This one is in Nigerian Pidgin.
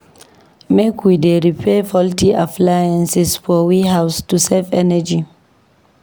Make we dey repair faulty appliances for we house to save energy.